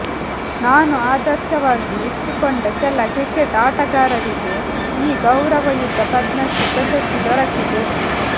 ನಾನು ಆದರ್ಶವಾಗಿ ಇಟ್ಟುಕೊಂಡ ಕೆಲ ಕ್ರಿಕೆಟ್ ಆಟಗಾರರಿಗೆ ಈ ಗೌರವಯುತ ಪದ್ಮಶ್ರೀ ಪ್ರಶಸ್ತಿ ದೊರಕಿದೆ